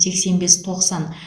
сексен бес тоқсан